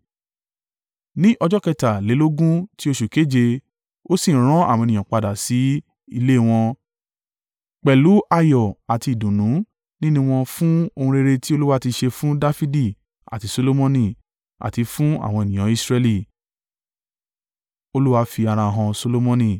Ní ọjọ́ kẹtàlélógún tí oṣù keje, ó sì rán àwọn ènìyàn padà sí ilé wọn, pẹ̀lú ayọ̀ àti ìdùnnú nínú wọn fún ohun rere tí Olúwa ti ṣe fún Dafidi àti Solomoni, àti fún àwọn ènìyàn Israẹli.